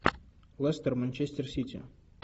лестер манчестер сити